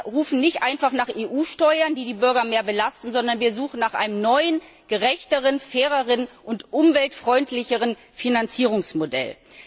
Wir rufen also nicht einfach nach EU Steuern, die die Bürger mehr belasten, sondern wir suchen nach einem neuen gerechteren, faireren und umweltfreundlicheren Finanzierungsmodell.